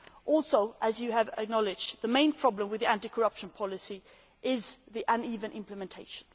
Also, as you have acknowledged, the main problem with anti corruption policy is uneven implementation.